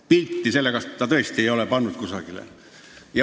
Pilti sellest ei ole ta tõesti kusagile pannud.